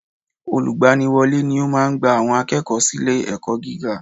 Olùgbaniwọ́lé ni ó máa gba àwọn akẹ́kọ̀ọ́ sílé ẹ̀kọ́ gíga